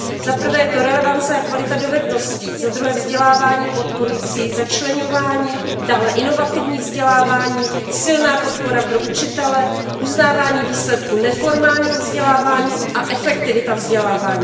Za prvé je to relevance a kvalita dovedností, za druhé vzdělávání podporující začleňování, dále inovativní vzdělávání, silná podpora pro učitele, uznávání výsledků neformálního vzdělávání a efektivita vzdělávání.